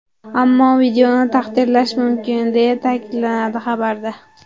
Ammo videoni tahrirlash mumkin, deya ta’kidlanadi xabarda.